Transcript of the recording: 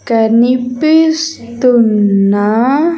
కనిపిస్తున్న .